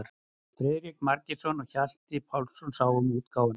Friðrik Margeirsson og Hjalti Pálsson sáu um útgáfuna.